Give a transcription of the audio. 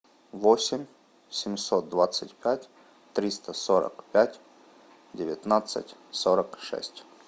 восемь семьсот двадцать пять триста сорок пять девятнадцать сорок шесть